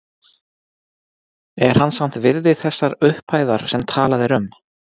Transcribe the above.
Er hann samt virði þessar upphæðar sem talað er um?